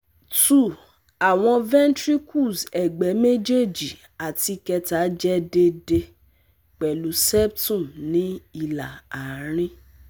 2- Awọn ventricles ẹgbẹ mejeeji ati keta jẹ deede pẹlu septum ni ila arin